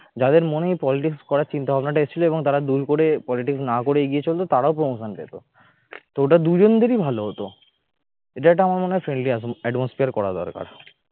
যাদের মনে politics করার চিন্তাভাবনা টা এসেছিলতারা জোর করে politics না করে এগিয়ে চলতো তারাও promotion পেতো তো ওটা দুজনদেরই ভালো হতো। এটা একটা আমার মনে হয় friendly atmosphere করা দরকার